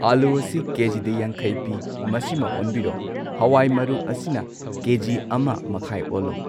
ꯑꯜꯂꯨ ꯑꯁꯤ ꯀꯦꯖꯤꯗ ꯌꯥꯡꯈꯩ ꯄꯤ꯫ ꯃꯁꯤꯃ ꯑꯣꯟꯕꯤꯔꯣ ꯍꯋꯥꯏ ꯃꯔꯨ ꯑꯁꯤꯅ ꯀꯦꯖꯤ ꯑꯃ ꯃꯈꯥꯏ ꯑꯣꯜꯂꯣ꯫